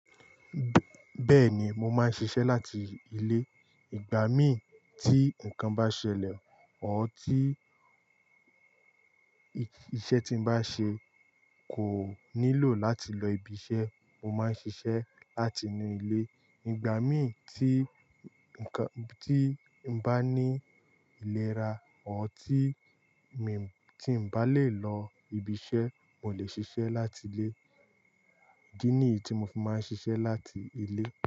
Bẹ́ẹ̀ni, mo máa ń ṣiṣẹ́ láti ilé. Ìgbà mí tí nǹkan bá ṣẹlẹ̀ OR tí iṣẹ́ tí m bá ń ṣe kò nílò láti lọ ibiṣẹ́, mo máa ń ṣiṣẹ́ láti inú ilé. Ìgbà mí tí nǹkan-- tí mo bá ní ìlera or tí mi-- tí ǹ bá lè lọ ibiṣẹ́, mo lè ṣiṣẹ́ láti ilé. Idí nìyìí ti mo fi máa ń ṣiṣẹ́ láti ilé.